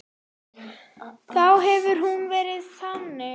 Þá hefði hún verið þannig